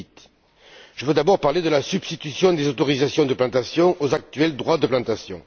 2008. Je veux d'abord parler de la substitution des autorisations de plantation aux actuels droits de plantation.